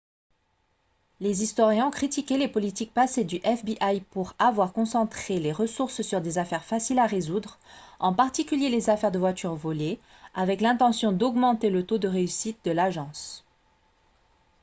les historiens ont critiqué les politiques passées du fbi pour avoir concentré les ressources sur des affaires faciles à résoudre en particulier les affaires de voitures volées avec l'intention d'augmenter le taux de réussite de l'agence